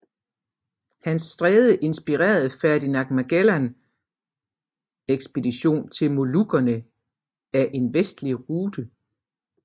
Hans stræde inspirerede Ferdinand Magellan ekspedition til Molukkerne af en vestlig rute